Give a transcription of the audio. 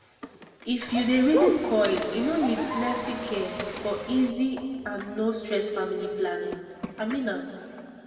if u dey reason coil e no need plenty care for easy and no stress family planning -- i mean am